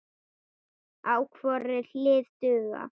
á hvorri hlið duga.